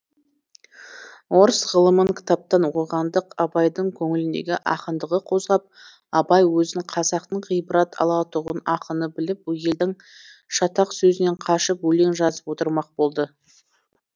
орыс ғылымын кітаптан оқығандық абайдың көңіліндегі ақындығы қозғап абай өзін қазақтың ғибрат алатұғын ақыны біліп елдің шатақ сөзінен қашып өлең жазып отырмақ болды